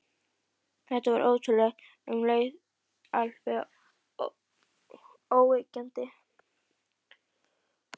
Þetta var ótrúlegt, en um leið alveg óyggjandi.